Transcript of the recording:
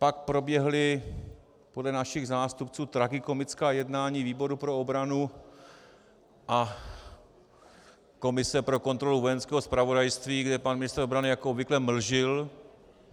Pak proběhla podle našich zástupců tragikomická jednání výboru pro obranu a komise pro kontrolu Vojenského zpravodajství, kde pan ministr obrany jako obvykle mlžil.